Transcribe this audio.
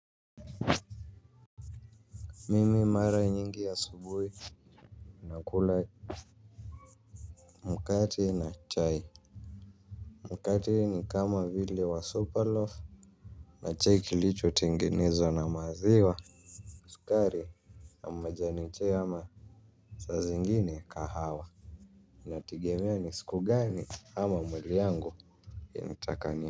Mimi mara nyingi asubuhi nakula mkate na chai. Mkati ni kama vile wa super loaf. Na chai kilicho tengenezwa na maziwa sukari na majani chai ama saa zingine kahawa inategemea ni siku gani ama mwili yangu initaka ni.